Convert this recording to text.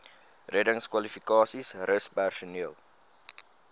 reddingskwalifikasies rus personeel